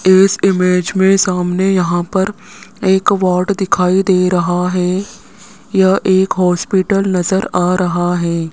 इस इमेज मे सामने यहां पर एक वार्ड दिखाई दे रहा है यह एक हॉस्पिटल नज़र आ रहा है।